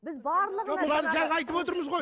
біз барлығына жаңа айтып отырмыз ғой